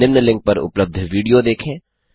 निम्न लिंक पर उपलब्ध विडियो देखें